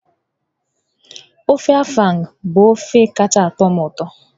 Ofe Afang bụ ofe kacha atọ m ụtọ.